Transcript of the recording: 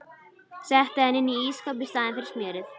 Setti hann inn í ísskáp í staðinn fyrir smjörið.